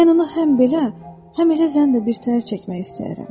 Mən onu həm belə, həm elə zənn də birtəhər çəkmək istəyirəm.